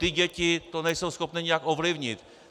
Ty děti to nejsou schopny nijak ovlivnit.